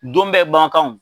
Don bɛ ban kan o.